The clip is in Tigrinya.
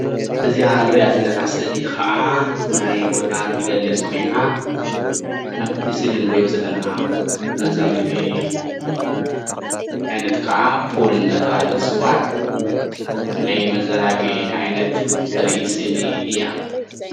እዚ እንርኣ ዘለና ስኢሊ ከዓ መዝናነይ ቦታ እትገልፅ ኮይና ከምቲ ስእሊ እንሪኦ ዘለና መዘናጊዒ ዓይነት ከዓ ፑል እንዳተባሃለ ዝፅዋዕ ናይ መዘናጊዒ ዓይነት እተርኢ ስእሊ እያ፡፡